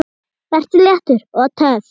Vertu léttur. og töff!